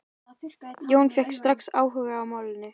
Jón fékk strax áhuga á málinu.